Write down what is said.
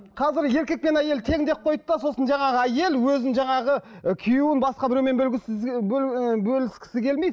қазір еркек пен әйел тең деп қойды да сосын жаңағы әйел өзін жаңағы ы күйеуін басқа біреумен ііі бөліскісі келмейді